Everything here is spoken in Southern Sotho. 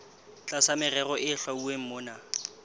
tlasa merero e hlwauweng mona